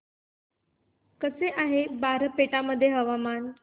कसे आहे बारपेटा मध्ये हवामान